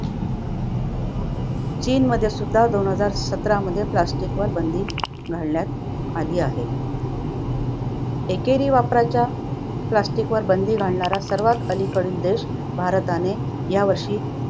चीनमध्ये सुद्धा दोन हजार सतरामध्ये plastic वर बंदी घालण्यात आली आहे. एकेरी वापराच्या plastic वर बंदी घालणारा सर्वात अलीकडील देश भारताने या वर्षी